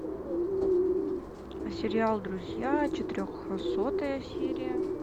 сериал друзья четырехсотая серия